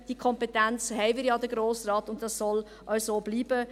Diese Kompetenz hat der Grosse Rat ja, und das soll auch so bleiben.